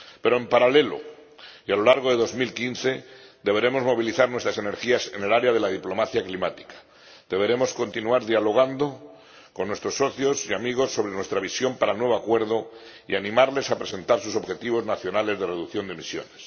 Pero, en paralelo, y a lo largo de 2015, deberemos movilizar nuestras energías en el área de la diplomacia climática, deberemos continuar dialogando con nuestros socios y amigos sobre nuestra visión para el nuevo acuerdo y animarlos a presentar sus objetivos nacionales de reducción de emisiones.